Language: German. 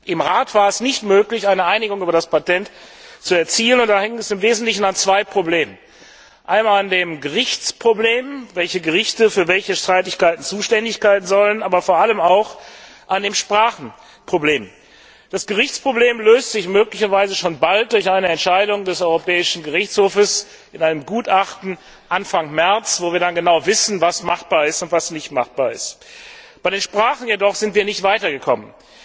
Im Rat war es nicht möglich, eine Einigung über das Patent zu erzielen, und da hing es im Wesentlichen an zwei Problemen. Einmal an dem Gerichtsproblem welche Gerichte für welche Streitigkeiten zuständig sein sollen aber vor allem auch an dem Sprachenproblem. Das Gerichtsproblem löst sich möglicherweise schon bald durch eine Entscheidung des Europäischen Gerichtshofs in einem Gutachten Anfang März, wo wir dann genau wissen, was machbar ist und was nicht. Bei den Sprachen jedoch sind wir nicht weitergekommen.